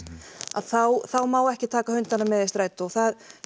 þá þá má ekki taka hundana með í strætó það